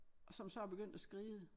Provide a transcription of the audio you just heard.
Og som så er begyndt at skride